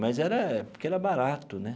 Mas era porque era barato, né?